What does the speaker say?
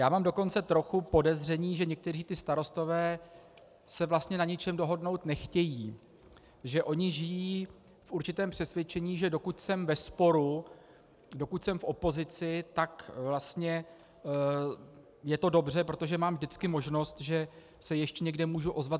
Já mám dokonce trochu podezření, že někteří ti starostové se vlastně na ničem dohodnout nechtějí, že oni žijí v určitém přesvědčení, že "dokud jsem ve sporu, dokud jsem v opozici, tak vlastně je to dobře, protože mám vždycky možnost, že se ještě někde můžu ozvat.